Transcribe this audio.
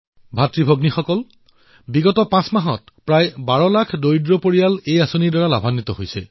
ভাতৃ আৰু ভগ্নীসকল যোৱা পাঁচ মাহত প্ৰায় বাৰ লাখ দুখীয়া পৰিয়ালে এই যোজনাৰ পৰা উপকৃত হৈছে